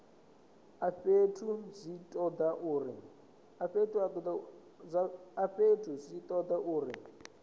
a fhethu zwi toda uri